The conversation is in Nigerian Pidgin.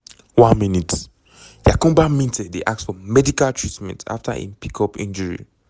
1 mins - yankuba minteh dey ask for medical treatment afta im pick up injury.